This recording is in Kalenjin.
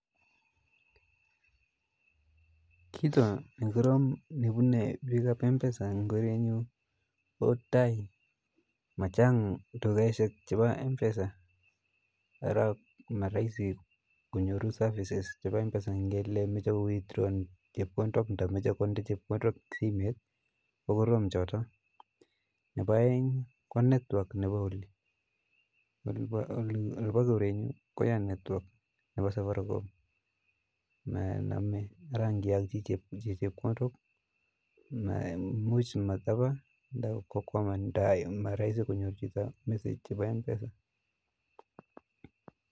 Kiiton nekorom nebune biikab mpesa en korenyun ko time machang tukaishek chebo mpesa araa moroisi konyoru services chebo mpesa en elemoche ii withdraw en chepkondok ng'omoche konde chepkondok simoit kokorom choton, Nebo oeng ko network nebo olii, olibo korenyun koyaa network nebo Safaricom monome, araa ng'iolchi chepkondok imuch matabaa ndakokwaman ndayu moroisi konyoru chito message nebo mpesa.